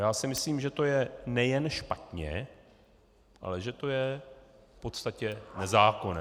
Já si myslím, že to je nejen špatně, ale že to je v podstatě nezákonné.